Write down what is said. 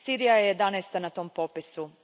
Sirija je jedanaesta na tom popisu.